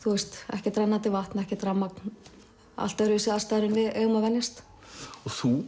ekkert rennandi vatn ekkert rafmagn allt öðruvísi aðstæður en við eigum að venjast þú